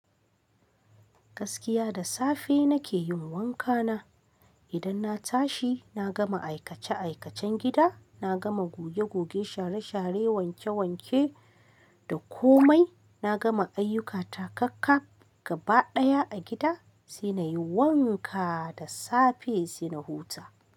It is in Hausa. Gaskiya da safe nake yin wanka na. Idan na tashi, na gama aikace-aikacen gida, na gama goge-goge, share-share, wanke-wanke da komai, na gama ayyuka ta kakkaf gaba ɗaya a gida, sai na yi wanka da safe sai na huta.